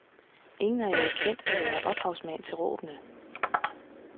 Ingen har jo erkendt at være ophavsmand til råbene.